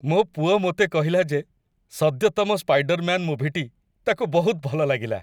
ମୋ ପୁଅ ମୋତେ କହିଲା ଯେ ସଦ୍ୟତମ ସ୍ପାଇଡରମ୍ୟାନ୍ ମୁଭିଟି ତାକୁ ବହୁତ ଭଲ ଲାଗିଲା।